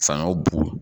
Fanga bugu